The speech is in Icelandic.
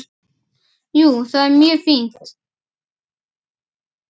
Jú, það er mjög fínt.